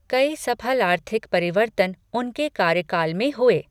कई सफल आर्थिक परिवर्तन उनके कार्यकाल में हुए।